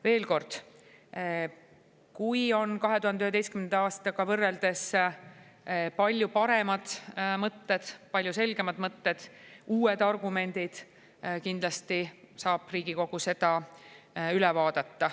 Veel kord: kui 2011. aastal võrreldes on palju paremad mõtted, palju selgemad mõtted, uued argumendid, saab Riigikogu need kindlasti üle vaadata.